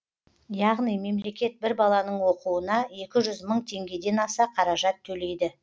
яғни мемлекет бір баланың оқуына екі жүз мың теңгеден аса қаражат төлейді